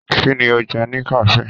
Kínní o jẹ ni kafe?